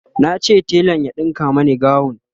nace telan ya ɗinka Mani gawun